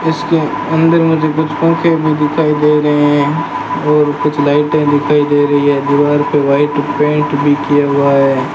इसके अंदर मुझे कुछ पंखे भी दिखाई दे रहे हैं और कुछ लाइटें दिखाई दे रही है दीवार पे वाइट पेंट भी किया हुआ है।